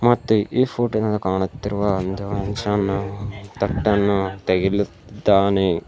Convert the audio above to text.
ಮತ್ತು ಇಲ್ಲಿ ಫೋಟೋ ನ ಕಾಣುತ್ತಿರುವ ತಟ್ಟನ್ನ ತೆಗೆಲುತ್ತಿದ್ದಾನೆ.